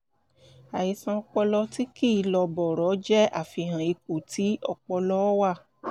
àìsàn ọpọlọ tí kìí lọ bọ̀rọ̀ jé àfihàn ipò tí ọpọlọ wà